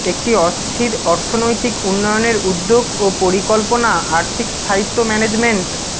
একটি অস্থির অর্থনৈতিক উন্নয়নের উদ্যোগ ও পরিকল্পনা আর্থিক স্থায়িত্ব ম্যানেজমেন্ট